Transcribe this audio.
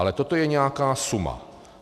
Ale toto je nějaká suma.